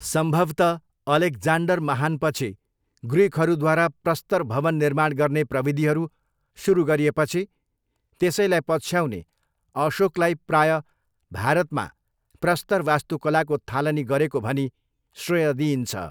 सम्भवतः अलेक्जान्डर महानपछि ग्रिकहरूद्वारा प्रस्तर भवन निर्माण गर्ने प्रविधिहरू सुरु गरिएपछि त्यसैलाई पछ्याउने अशोकलाई प्रायः भारतमा प्रस्तर वास्तुकलाको थालनी गरेको भनी श्रेय दिइन्छ।